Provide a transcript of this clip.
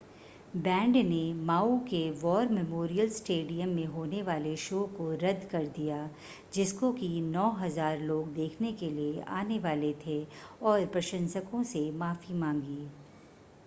band ने Maui के war memorial stadium में होने वाले शो को रद्द कर दिया जिसको कि 9,000 लोग देखने के लिए आने वाले थे और प्रशंसको से माफ़ी मांगी